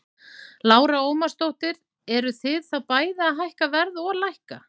Lára Ómarsdóttir: Eruð þið þá bæði að hækka verð og lækka?